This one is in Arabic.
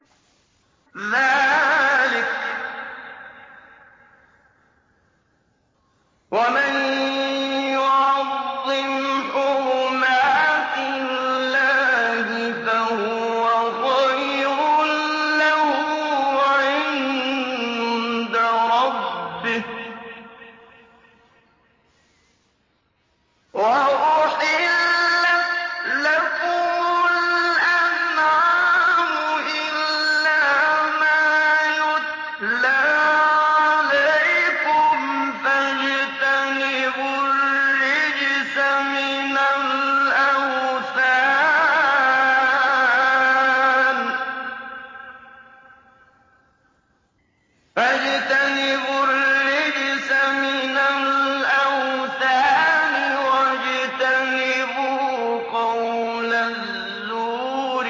ذَٰلِكَ وَمَن يُعَظِّمْ حُرُمَاتِ اللَّهِ فَهُوَ خَيْرٌ لَّهُ عِندَ رَبِّهِ ۗ وَأُحِلَّتْ لَكُمُ الْأَنْعَامُ إِلَّا مَا يُتْلَىٰ عَلَيْكُمْ ۖ فَاجْتَنِبُوا الرِّجْسَ مِنَ الْأَوْثَانِ وَاجْتَنِبُوا قَوْلَ الزُّورِ